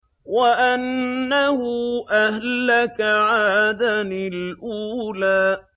وَأَنَّهُ أَهْلَكَ عَادًا الْأُولَىٰ